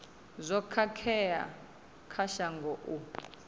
zwo khakhea kha shango u